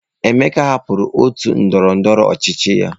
Emeka hapụrụ otu ndọrọndọrọ ọchịchị ya.